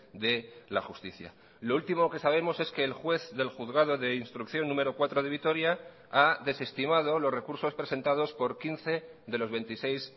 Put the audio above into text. de la justicia lo último que sabemos es que el juez del juzgado de instrucción número cuatro de vitoria ha desestimado los recursos presentados por quince de los veintiséis